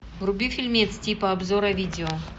вруби фильмец типа обзора видео